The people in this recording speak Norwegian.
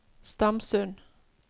Stamsund